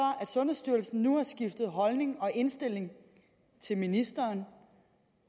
at sundhedsstyrelsen nu har skiftet holdning og indstilling i forhold til ministeren